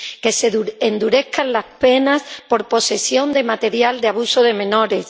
que se endurezcan las penas por posesión de material de abuso de menores